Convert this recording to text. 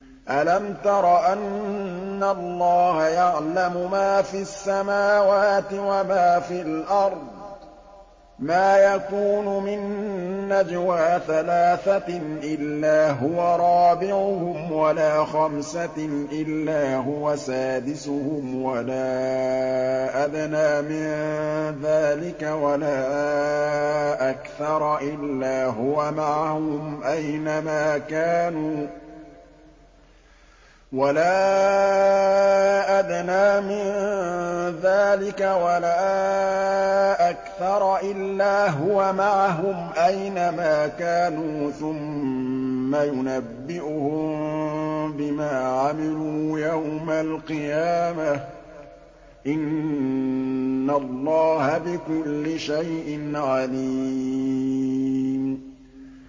أَلَمْ تَرَ أَنَّ اللَّهَ يَعْلَمُ مَا فِي السَّمَاوَاتِ وَمَا فِي الْأَرْضِ ۖ مَا يَكُونُ مِن نَّجْوَىٰ ثَلَاثَةٍ إِلَّا هُوَ رَابِعُهُمْ وَلَا خَمْسَةٍ إِلَّا هُوَ سَادِسُهُمْ وَلَا أَدْنَىٰ مِن ذَٰلِكَ وَلَا أَكْثَرَ إِلَّا هُوَ مَعَهُمْ أَيْنَ مَا كَانُوا ۖ ثُمَّ يُنَبِّئُهُم بِمَا عَمِلُوا يَوْمَ الْقِيَامَةِ ۚ إِنَّ اللَّهَ بِكُلِّ شَيْءٍ عَلِيمٌ